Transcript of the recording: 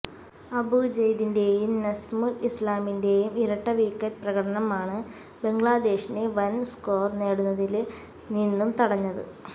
അബു ജയ്ദിന്റെയും നസ്മുല് ഇസ്ലാമിന്റെയും ഇരട്ടവിക്കറ്റ് പ്രകടനമാണ് ബംഗ്ലാദേശിനെ വന് സ്കോര് നേടുന്നതില് നിന്നും തടഞ്ഞത്